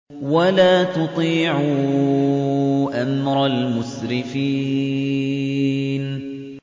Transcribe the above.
وَلَا تُطِيعُوا أَمْرَ الْمُسْرِفِينَ